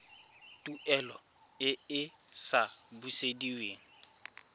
tuelo e e sa busediweng